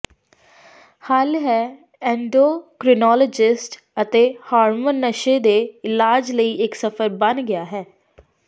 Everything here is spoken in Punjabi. ਹੱਲ ਹੈ ਐੱਨਡੋਕਰੀਨੋਲੋਵਜਸਟ ਅਤੇ ਹਾਰਮੋਨ ਨਸ਼ੇ ਦੇ ਇਲਾਜ ਲਈ ਇੱਕ ਸਫ਼ਰ ਬਣ ਗਿਆ ਹੈ